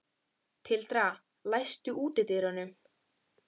Tildra, læstu útidyrunum.